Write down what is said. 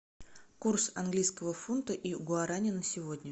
курс английского фунта и гуарани на сегодня